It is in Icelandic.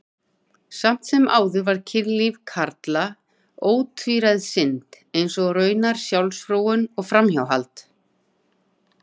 Samt sem áður var kynlíf karla ótvíræð synd, eins og raunar sjálfsfróun og framhjáhald.